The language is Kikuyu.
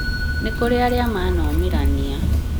nĩ kũrĩ arĩa manomĩrania